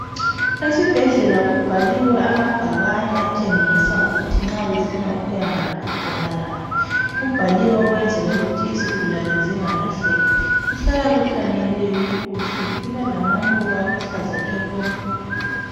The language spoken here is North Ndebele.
Esibhedlela kubhaliwe amabhakani atshengisa ukuthi nxa ufuna ukuyangaphi uqonda ngaphi kuhlala kuthanyeliwe kukuhle kulalamaluba aluhlaza tshoko